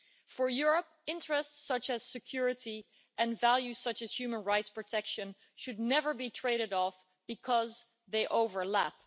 For Europe, interests such as security and values such as human rights protection should never be traded off because they overlap.